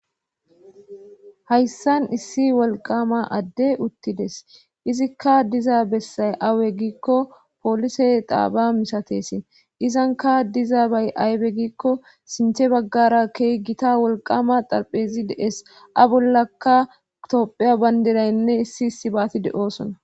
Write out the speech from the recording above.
hayssan issi wolqama adde uttides izikka diza bessay awe giikko poolise daaba misatesin izanka diza bay aybe giikko sinte baggara keeygita wolqama xalphezi dees a bollaka tophiya bandiraynne issi issi baati de7oosona